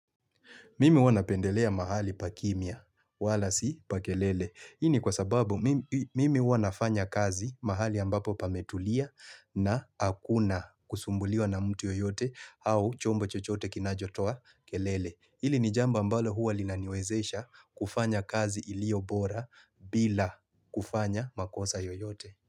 Mimi huwa napendelea mahali pa kimya, wala si pa kelele. Hii ni kwa sababu mimi huwa nafanya kazi mahali ambapo pametulia na hakuna kusumbuliwa na mtu yoyote au chombo chochote kinachotoa kelele. Hili ni jambo ambalo huwa linaniwezesha kufanya kazi ilio bora bila kufanya makosa yoyote.